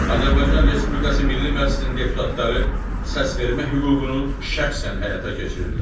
Azərbaycan Respublikası Milli Məclisinin deputatları səsvermə hüququnu şəxsən həyata keçirirlər.